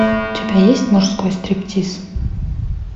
у тебя есть мужской стриптиз